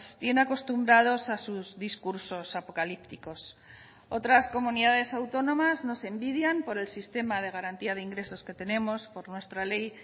tiene acostumbrados a sus discursos apocalípticos otras comunidades autónomas nos envidian por el sistema de garantía de ingresos que tenemos por nuestra ley